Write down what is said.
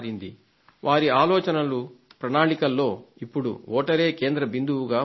వారి ఆలోచనలు ప్రణాళికల్లో ఇప్పుడు వోటరే కేంద్ర బిందువుగా మారాడు